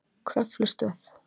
Kröflustöð